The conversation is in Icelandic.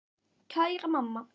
Kæra mamma.